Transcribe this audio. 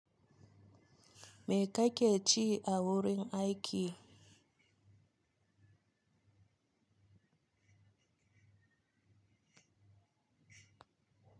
Me kake ci awurin aiki?